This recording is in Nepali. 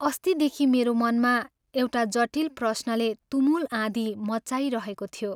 अस्तिदेखि मेरो मनमा एउटा जटिल प्रश्नले तुमुल आँधी मच्चाइरहेको थियो।